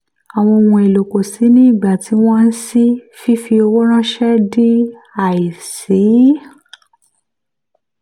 àwọn ohun èlò kò ṣìí ní ìgbà tí wọ́n ṣii fífi owó ránṣẹ́ di àìṣeé.